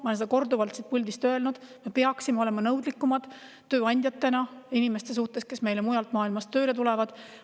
Ma olen seda korduvalt siit puldist öelnud, et tööandjad peaksid olema nõudlikumad inimeste suhtes, kes meile mujalt maailmast tööle tulevad.